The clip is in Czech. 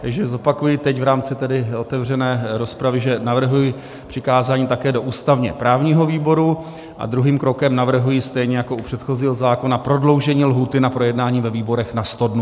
Takže zopakuji teď v rámci tedy otevřené rozpravy, že navrhuji přikázání také do ústavně-právního výboru a druhým krokem navrhuji stejně jako u předchozího zákona prodloužení lhůty na projednání ve výborech na 100 dnů.